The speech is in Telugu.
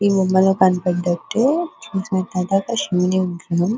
ఈ బొమ్మలో కనపడ్డట్టే శివుని విగ్రహం.